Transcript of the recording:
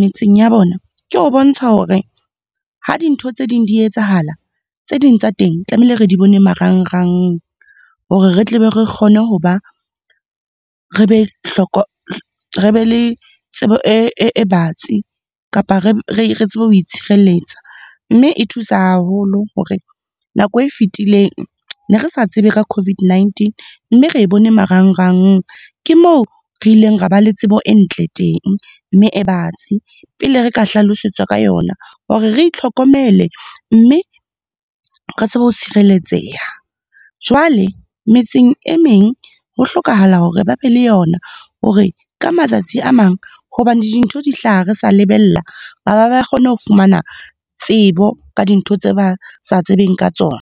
metseng ya bona, ke ho bontsha hore, ha dintho tse ding di etsahala, tse ding tsa teng tlamehile re di bone marangrang, hore re tle be re kgone ho ba, re be re be le tsebo e batsi kapa re tsebe ho tshireletsa. Mme e thusa haholo hore nako e fetileng, ne re sa tsebe ka COVID-19 mme re e bone marangrang. Ke moo, re ileng ra ba le tsebo e ntle teng, mme e batsi pele re ka hlalosetswa ka yona hore re itlhokomele, mme re tsebe ho tshireletseha. Jwale, metseng e meng ho hlokahala hore ba be le yona hore ka matsatsi a mang, hobane dintho di hlaha re sa lebella, ba ba kgone ho fumana tsebo ka dintho tse ba sa tsebeng ka tsona.